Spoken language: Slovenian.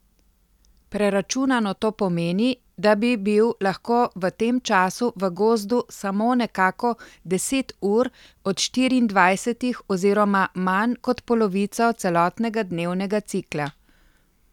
Preračunano to pomeni, da bi bil lahko v tem času v gozdu samo nekako deset ur od štiriindvajsetih oziroma manj kot polovico celotnega dnevnega cikla.